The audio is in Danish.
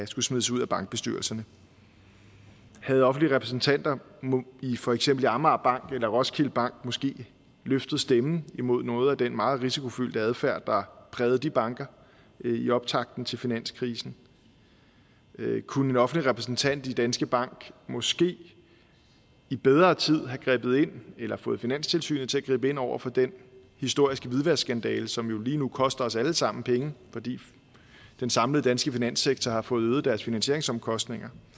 skulle smides ud af bankbestyrelserne havde offentlige repræsentanter i for eksempel amagerbanken eller roskilde bank måske løftet stemmen imod noget af den meget risikofyldte adfærd der prægede de banker i optakten til finanskrisen kunne en offentlig repræsentant i danske bank måske i bedre tid have grebet ind eller fået finanstilsynet til at gribe ind over for den historiske hvidvaskskandale som jo lige nu koster os allesammen penge fordi den samlede danske finanssektor har fået øget deres finansieringsomkostninger